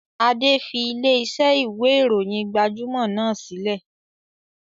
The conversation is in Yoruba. Adé fi ilẹ̀ ìṣe ìwé ìròyìn gbajúmọ̀ náà sílẹ̀